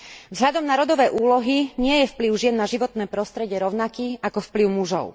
Vzhľadom na rodové úlohy nie je vplyv žien na životné prostredie rovnaký ako vplyv mužov.